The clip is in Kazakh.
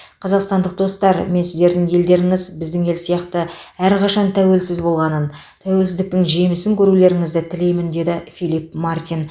қазақстандық достар мен сіздердің елдеріңіз біздің ел сияқты әрқашан тәуелсіз болғанын тәуелсіздіктің жемісін көрулеріңізді тілеймін деді филипп мартин